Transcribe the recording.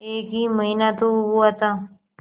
एक ही महीना तो हुआ था